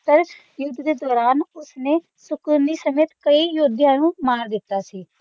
ਪਰ ਯੁੱਧ ਦੇ ਦੌਰਾਨ ਉਸਨੇ ਸ਼ਕੁਨੀ ਸਮੇਤ ਕਈ ਯੋਧਿਆਂ ਨੂੰ ਮਾਰ ਦਿੱਤਾ ਸੀ